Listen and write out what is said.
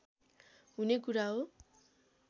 हुने कुरा हो